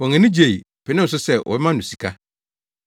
Wɔn ani gyei, penee so sɛ wɔbɛma no sika.